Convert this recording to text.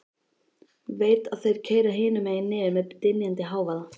Veit að þeir keyra hinum megin niður með dynjandi hávaða.